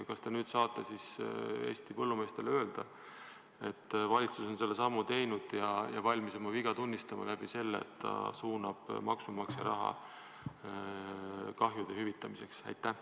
Kas te nüüd saate Eesti põllumeestele öelda, et valitsus on selle sammu teinud ja valmis oma viga tunnistama sellega, et ta suunab maksumaksja raha kahjude hüvitamiseks?